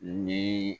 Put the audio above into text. Ni